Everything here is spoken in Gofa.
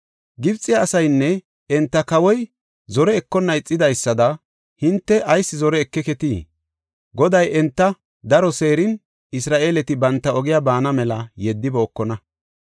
Gibxe asaynne enta kawoy zore ekonna ixidaysada hinte ayis zore ekeketii? Goday enta daro seerin Isra7eeleti banta ogiya baana mela yeddibookona?